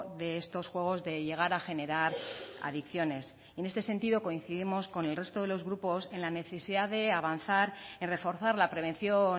de estos juegos de llegar a generar adicciones en este sentido coincidimos con el resto de los grupos en la necesidad de avanzar en reforzar la prevención